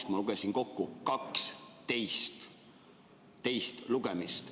Aga ma lugesin kokku, siin on 12 teist lugemist.